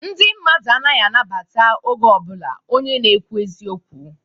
Ndị mmadu anaghị anabata oge ọbụlạ onye na-ekwu eziokwu.